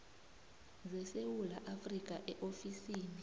zesewula afrika eofisini